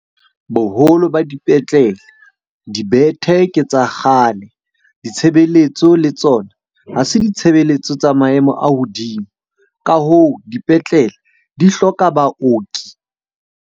Boholo ba dipetlele, dibethe ke tsa kgale. Ditshebeletso le tsona ha se ditshebeletso tsa maemo a hodimo. Ka hoo, dipetlele di hloka baoki.